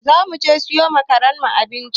Za mu je siyo ma karen mu abinci.